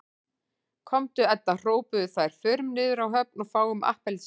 Komdu Edda hrópuðu þær, förum niður á höfn og fáum APPELSÍNUR